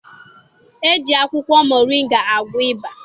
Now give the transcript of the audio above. E ji akwụkwọ moringa agwọ ịba.